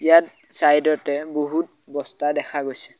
ইয়াত ছাইডতে বহুত বস্তা দেখা গৈছে।